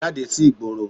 Jáde sí ìgboro